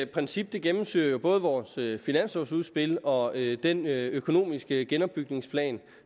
princip gennemsyrer jo både vores finanslovudspil og den økonomiske genopbygningsplan